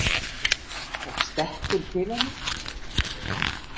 Og stekkur til hennar.